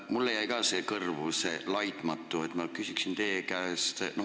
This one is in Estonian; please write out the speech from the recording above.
Mulle jäi ka kõrvu see "laitmatu" ja ma küsiksin teie käest.